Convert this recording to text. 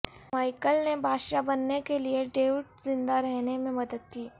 میکل نے بادشاہ بننے کے لئے ڈیوڈ زندہ رہنے میں مدد کی